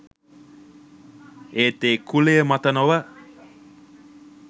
ඒත් ඒ කුලය මත නොව